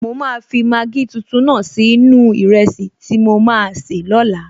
Mo máa fi Maggi tuntun náà sí inú-u ìrẹsì tí mo maa sè lóla